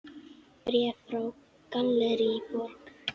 Bréf frá Gallerí Borg.